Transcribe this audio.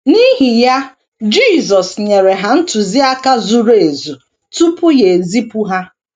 N’ihi ya, Jisọs nyere ha ntụziaka zuru ezu tupu ya ezipụ ha.